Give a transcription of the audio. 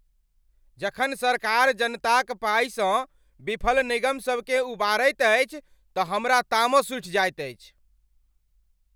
जखन सरकार जनताक पाइसँ विफल निगमसभकेँ उबारैत अछि तऽ हमरा तामस उठि जाएत अछि।